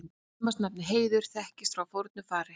Kvenmannsnafnið Heiður þekkist frá fornu fari.